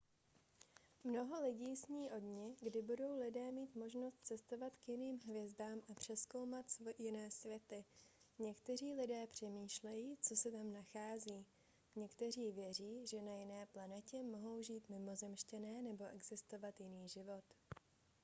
mnoho lidí sní o dni kdy budou lidé mít možnost cestovat k jiným hvězdám a prozkoumat jiné světy někteří lidé přemýšlejí co se tam nachází někteří věří že na jiné planetě mohou žít mimozemšťané nebo existovat jiný život